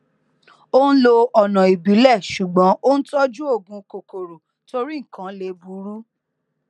ó n lo ọnà ìbílẹ ṣùgbọn ó n tọjú òògùn kòkòrò torí nnkan lè burú